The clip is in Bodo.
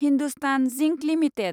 Hindustan Zinc limited